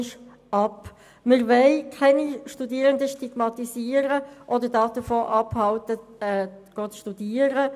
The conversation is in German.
Wir wollen keine Studierenden stigmatisieren oder davon abhalten, ein Studium aufzunehmen.